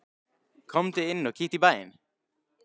Komdu inn og kíktu í bæinn!